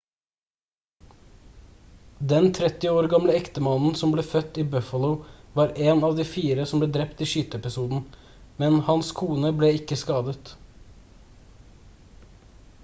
den 30 år gamle ektemannen som ble født i buffalo var en av de fire som ble drept i skyteepisoden men hans kone ble ikke skadet